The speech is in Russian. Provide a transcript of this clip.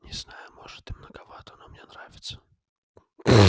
не знаю может и многовато но мне нравится